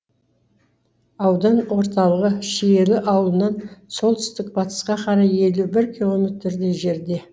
аудан орталығы шиелі ауылынан солтүстік батысқа қарай елу бір километрдей жерде